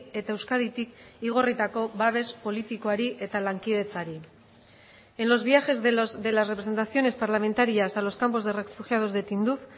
eta euskaditik igorritako babes politikoari eta lankidetzari en los viajes de las representaciones parlamentarias a los campos de refugiados de tinduf